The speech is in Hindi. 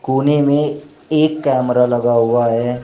कोने में एक कैमरा लगा हुआ है।